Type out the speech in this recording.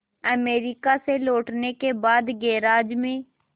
America से लौटने के बाद गैराज में